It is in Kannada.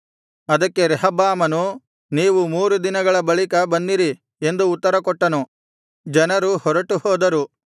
ಅದಕ್ಕೆ ರೆಹಬ್ಬಾಮನು ನೀವು ಮೂರು ದಿನಗಳ ಬಳಿಕ ಬನ್ನಿರಿ ಎಂದು ಉತ್ತರಕೊಟ್ಟನು ಜನರು ಹೊರಟು ಹೋದರು